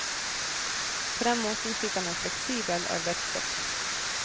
På den måten fikk han en fleksibel arbeidsstokk.